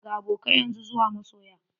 Daga abokai yanzu zuwa masoya.